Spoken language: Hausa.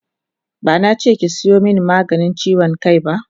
Bana che ki sayo maganin chiwon kai ba!